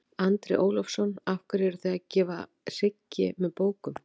Andri Ólafsson: Af hverju eruð þið að gefa hryggi með bókum?